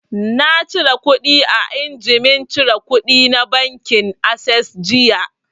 Na cire kuɗi a injimin cire kuɗi na bankin assess jiya